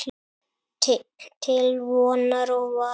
Til vonar og vara.